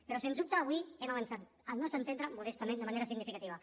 però sens dubte avui hem avançat al nostre entendre modestament de manera significativa